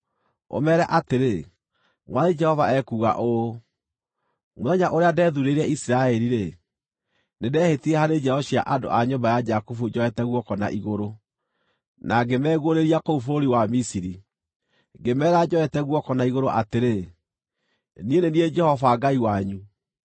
ũmeere atĩrĩ, ‘Mwathani Jehova ekuuga ũũ: Mũthenya ũrĩa ndethuurĩire Isiraeli-rĩ, nĩndehĩtire harĩ njiaro cia andũ a nyũmba ya Jakubu njoete guoko na igũrũ, na ngĩmeguũrĩria kũu bũrũri wa Misiri. Ngĩmeera njoete guoko na igũrũ atĩrĩ, “Niĩ nĩ niĩ Jehova Ngai wanyu.”